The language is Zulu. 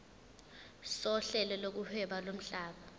sohlelo lokuhweba lomhlaba